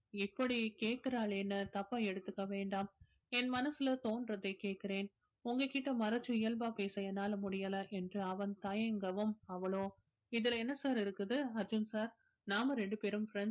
இப்படி கேக்குறாளேன்னு தப்பா எடுத்துக்க வேண்டாம் என் மனசுல தோன்றதைக் கேட்கிறேன் உங்க கிட்ட மறைச்சு இயல்பா பேச என்னால முடியலை என்று அவன் தயங்கவும் அவளோ இதுல என்ன sir இருக்குது அர்ஜுன் sir நாம ரெண்டு பேரும் friends